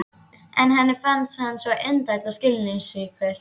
Henni fannst hann svo indæll og skilningsríkur.